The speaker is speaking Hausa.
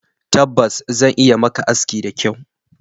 Tabbas! Zan iya yi maka aski da kyau